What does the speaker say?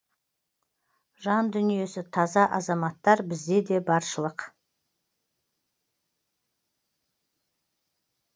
жан дүниесі таза азаматтар бізде де баршылық